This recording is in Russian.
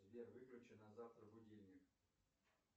сбер выключи на завтра будильник